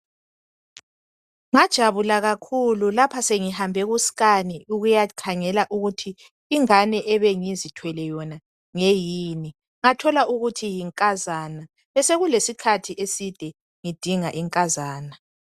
ngajabula kakhulu sengihambe ku scan ukuyakhangela ukuthi ingane ebingithwele yon ngeyini ngathola ngathola ukuthi yinkazana besekulesikhathi eside ngidinga inkazana